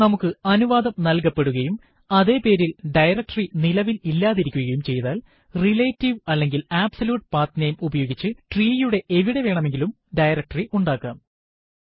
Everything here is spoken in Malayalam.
നമുക്ക് അനുവാദം നല്കപ്പെടുകയും അതെ പേരിൽ ഡയറക്ടറി നിലവിൽ ഇല്ലാതിരിക്കുകയും ചെയ്താൽ റിലേറ്റീവ് അല്ലെങ്കിൽ അബ്സല്യൂട്ട് പത്നമേ ഉപയോഗിച്ച് ട്രീയുടെ എവിടെ വേണമെങ്കിലും ഡയറക്ടറി ഉണ്ടാക്കാം